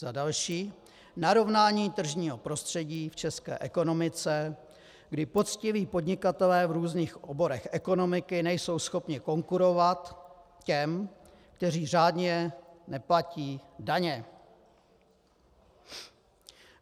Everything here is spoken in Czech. Za další: narovnání tržního prostředí v české ekonomice, kdy poctiví podnikatelé v různých oborech ekonomiky nejsou schopni konkurovat těm, kteří řádně neplatí daně.